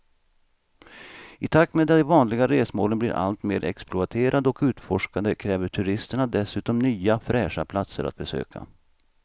I takt med att de vanliga resmålen blir allt mer exploaterade och utforskade kräver turisterna dessutom nya fräscha platser att besöka.